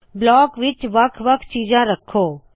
block ਵਿੱਚ ਵੱਖ ਵੱਖ ਚੀਜਾੰ ਰੱਖੋ